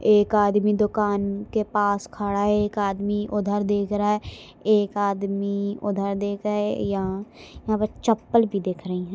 एक आदमी दुकान के पास खड़ा है एक आदमी उधर देख रहा है एक आदमी उधर देख रहा है यहाँ यहाँ पर चप्पल भी दिख रही है।